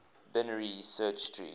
binary search tree